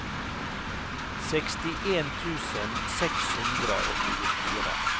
sekstien tusen seks hundre og tjuefire